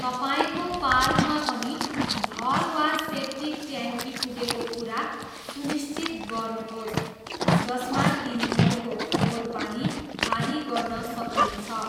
तपाईँको पार्कमा पनि ढल वा सेप्टिक ट्याङ्की पुगेको कुरा सुनिश्चित गर्नुहोस् जसमा तिनीहरूको फोहोर पानी खाली गर्न सकिनेछ।